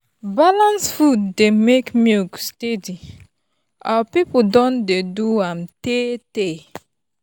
balanced food dey make milk steady our people don dey do am tey tey.